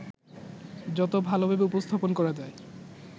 যত ভালোভাবে উপস্থাপন করা যায়